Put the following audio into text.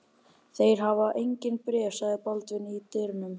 Þeir hafa engin bréf, sagði Baldvin í dyrunum.